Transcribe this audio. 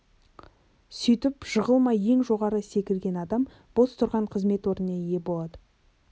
сөйтіп жығылмай ең жоғары секірген адам бос тұрған қызмет орнына ие болады